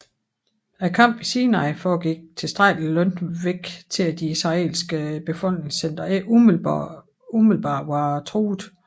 Kampene i Sinai foregik tilstrækkelig langt væk til at de israelske befolkningscentre ikke umiddelbart var truede